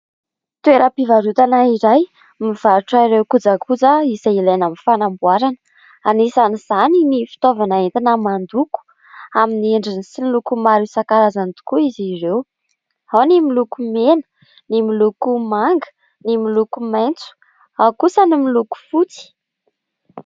Toeram-pivarotana iray mivarotra ireo kojakoja izay ilaina amin'ny fanamboarana. Anisan'izany ny fitaovana entina mandoko amin'ny endriny sy ny lokony maro isan-karazany tokoa izy ireo : ao ny miloko mena, ny miloko manga, ny miloko maitso, ao kosa ny miloko fotsy.